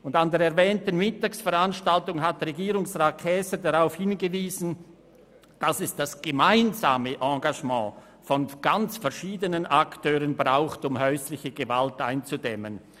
An der erwähnten Mittagsveranstaltung hat Regierungsrat Käser darauf hingewiesen, dass das gemeinsame Engagement ganz verschiedener Akteure notwendig ist, um häusliche Gewalt einzudämmen.